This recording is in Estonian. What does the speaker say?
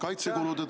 Aitäh!